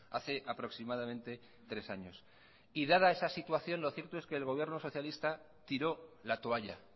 hace aproximadamente tres años y dada esa situación lo cierto es que el gobierno socialista tiró la toalla